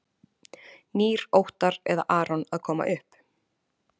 Nýr Óttar eða Aron að koma upp?